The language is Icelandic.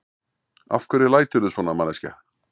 Af hverju læturðu svona, manneskja!